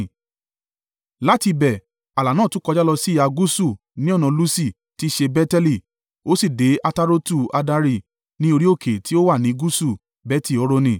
Láti ibẹ̀ ààlà náà tún kọjá lọ sí ìhà gúúsù ní ọ̀nà Lusi (tí í ṣe Beteli) ó sì dé Atarotu-Addari, ní orí òkè tí ó wà ní gúúsù Beti-Horoni.